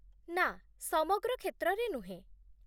ନା, ସମଗ୍ର କ୍ଷେତ୍ରରେ ନୁହେଁ।